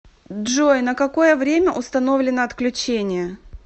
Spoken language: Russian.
джой на какое время установлено отключение